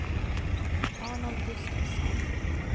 Arnold Gustafsson